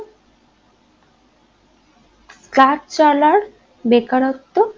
কাজ চলার বেকারত্ব